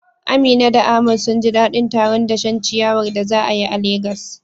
Amina da Ahmad sun ji dadin taron dashen ciyawar da za a yi a Legas.